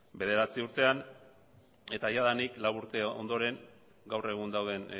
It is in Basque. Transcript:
bederatzi urtean eta jadanik lau urte ondoren gaur egun dauden